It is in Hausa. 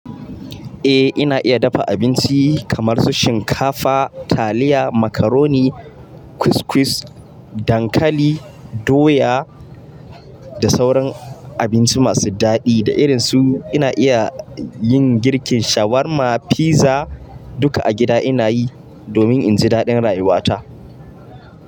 Eh ina iya dafa abinci kamar su shinkafa, taliya, macaroni, couscous, dankali, doya da sauran abinci masu daɗi. Da irin su, ina iya yin girkin shawarma, fiza duka a gida ina yi domin in ji daɗin rayuwata.